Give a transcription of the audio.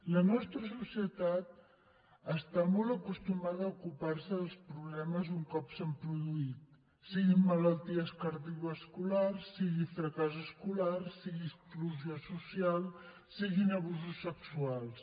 la nostra societat està molt acostumada a ocupar se dels problemes un cop s’han produït siguin malalties cardiovasculars sigui fracàs escolar sigui exclusió social siguin abusos sexuals